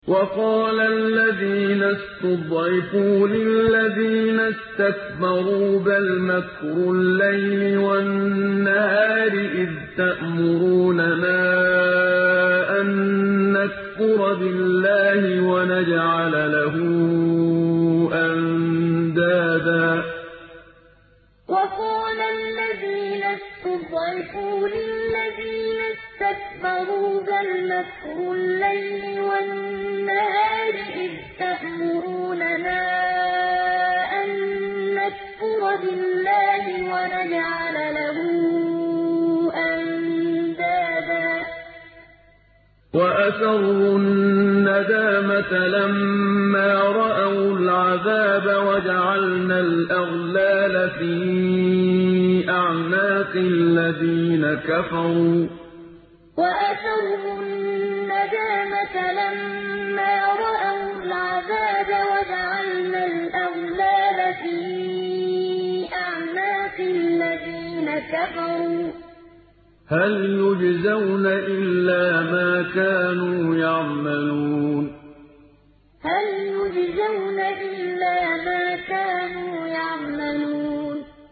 وَقَالَ الَّذِينَ اسْتُضْعِفُوا لِلَّذِينَ اسْتَكْبَرُوا بَلْ مَكْرُ اللَّيْلِ وَالنَّهَارِ إِذْ تَأْمُرُونَنَا أَن نَّكْفُرَ بِاللَّهِ وَنَجْعَلَ لَهُ أَندَادًا ۚ وَأَسَرُّوا النَّدَامَةَ لَمَّا رَأَوُا الْعَذَابَ وَجَعَلْنَا الْأَغْلَالَ فِي أَعْنَاقِ الَّذِينَ كَفَرُوا ۚ هَلْ يُجْزَوْنَ إِلَّا مَا كَانُوا يَعْمَلُونَ وَقَالَ الَّذِينَ اسْتُضْعِفُوا لِلَّذِينَ اسْتَكْبَرُوا بَلْ مَكْرُ اللَّيْلِ وَالنَّهَارِ إِذْ تَأْمُرُونَنَا أَن نَّكْفُرَ بِاللَّهِ وَنَجْعَلَ لَهُ أَندَادًا ۚ وَأَسَرُّوا النَّدَامَةَ لَمَّا رَأَوُا الْعَذَابَ وَجَعَلْنَا الْأَغْلَالَ فِي أَعْنَاقِ الَّذِينَ كَفَرُوا ۚ هَلْ يُجْزَوْنَ إِلَّا مَا كَانُوا يَعْمَلُونَ